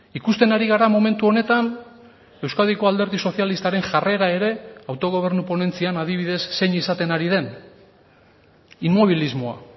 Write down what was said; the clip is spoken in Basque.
ikusten ari gara momentu honetan euskadiko alderdi sozialistaren jarrera ere autogobernu ponentzian adibidez zein izaten ari den inmobilismoa